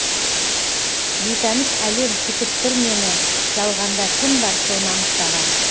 бейтаныс әлем күтіп тұр мені жалғанда кім бар соны анықтаған